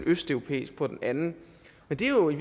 østeuropæisk på den anden men det er jo i